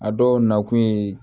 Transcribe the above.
A dɔw nakun ye